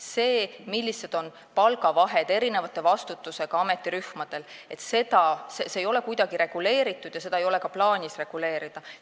See, millised on erineva vastutusega ametirühmade palgavahed, ei ole kuidagi reguleeritud ja seda ei ole ka plaanis reguleerida.